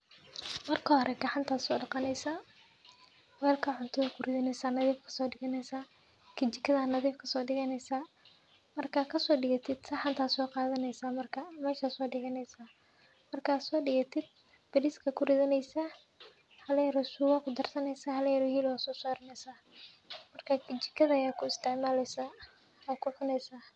Marka horee gacanta soo dhakaanaysa, welka cuntu ku ridanaysa, nadiif ka soo dhiginaysa, kijikada nadiif ka soo dhiginaysa. Markaa ka soo dhigiyo ti saxan oo soqaadanaysa markaa meshaas soo dhiginaysa. Markaa soo dhigiyo tiib, berriska ku ridanaysa haleero suwaq u darsanaysa, halo yar hilib oo sarnaysa. Markay kijikadayo ku isticmaalaysa ha ku cunaysa